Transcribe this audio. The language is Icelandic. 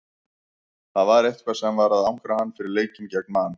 Það var eitthvað sem var að angra hann fyrir leikinn gegn Man.